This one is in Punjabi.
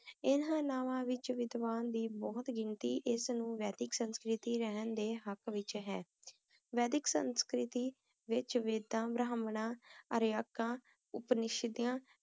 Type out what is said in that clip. ਅੰਨਾ ਵਿਚ ਬਹੁਤ ਸੰਸਕ੍ਰਿਤਿਕ ਹੈ ਰੇਹਾਨ ਦੇ ਹੱਕ ਕਰਾਚੀ ਵਿੱਚ ਇਸ ਤਰ੍ਹਾਂ ਕੰਮ ਕਰਦਾ ਹੈ